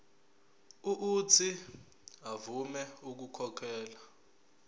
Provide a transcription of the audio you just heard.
uuthi avume ukukhokhela